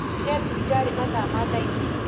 Nginyire thibitarĩ mathaa ma thaa ĩgĩrĩ